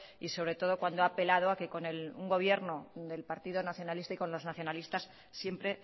y sobre todo cuando ha apelado a que con un gobierno del partido nacionalista y con los nacionalistas siempre